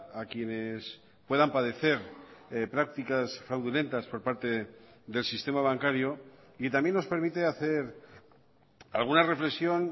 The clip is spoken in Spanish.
a quienes puedan padecer prácticas fraudulentas por parte del sistema bancario y también nos permite hacer alguna reflexión